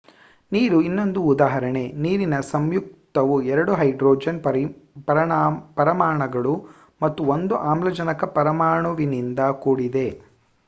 ನೀರು ಇನ್ನೊಂದು ಉದಾಹರಣೆ ನೀರಿನ ಸಂಯುಕ್ತವು ಎರಡು ಹೈಡ್ರೋಜನ್ ಪರಮಾಣುಗಳು ಮತ್ತು ಒಂದು ಆಮ್ಲಜನಕ ಪರಮಾಣುವಿನಿಂದ ಕೂಡಿದೆ